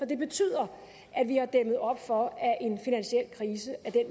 det betyder at vi har dæmmet op for at en finansiel krise af